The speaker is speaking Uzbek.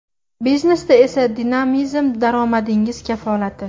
Biznesda esa dinamizm daromadingiz kafolati.